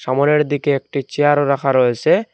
মোড়ের দিকে একটি চেয়ারও রাখা রয়েসে।